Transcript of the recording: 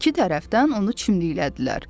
İki tərəfdən onu çimdiklədilər.